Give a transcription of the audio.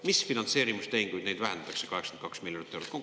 Mis finantseerimistehinguid vähendatakse 82 miljonit eurot?